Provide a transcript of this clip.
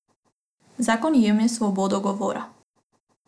Zakon jemlje svobodo govora.